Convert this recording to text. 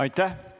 Aitäh!